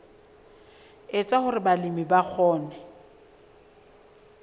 etsa hore balemi ba kgone